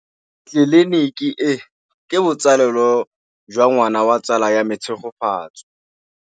Tleliniki e, ke botsalêlô jwa ngwana wa tsala ya me Tshegofatso.